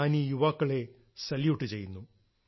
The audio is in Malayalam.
ഞാനീ യുവാക്കളെ സല്യൂട്ട് ചെയ്യുന്നു